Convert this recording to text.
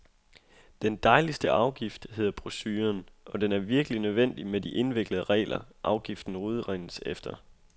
Den dejligste afgift , hedder brochuren, og den er virkelig nødvendig med de indviklede regler, afgiften udregnes efter.